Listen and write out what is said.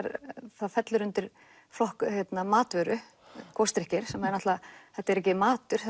það fellur undir flokk matvöru gosdrykkir þetta er ekki matur